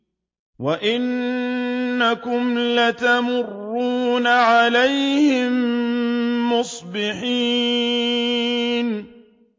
وَإِنَّكُمْ لَتَمُرُّونَ عَلَيْهِم مُّصْبِحِينَ